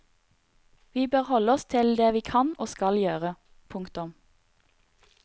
Vi bør holde oss til det vi kan og skal gjøre. punktum